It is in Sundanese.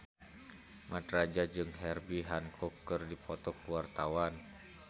Mat Drajat jeung Herbie Hancock keur dipoto ku wartawan